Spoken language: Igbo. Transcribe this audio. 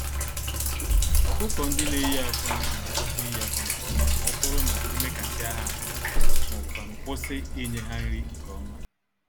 ọkụkọ-ndị-neyi-ákwà n'akwụsị iyi-akwa nke ọma mọbụrụ na emekasịa ha ahụ, m'ọbu kwanụ kwụsị ịnye ha nri nke ọma